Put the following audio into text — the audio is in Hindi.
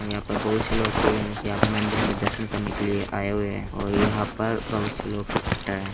यहाँ पे बहोत से लोग के हैं। यहाँ पे मन्दिर में दर्शन करने के लिए आये हुए हैं और यहाँ पर बहोत से लोग इकट्ठा हैं।